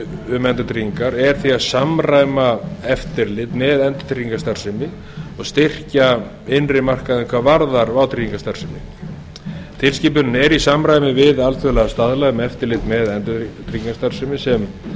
um endurtryggingar er því að samræma eftirlit með endurtryggingastarfsemi og styrkja innri markaðinn hvað varðar vátryggingastarfsemi tilskipunin er í samræmi við alþjóðlega staðla um eftirlit með endurtryggingastarfsemi sem